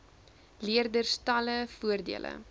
leerders talle voordele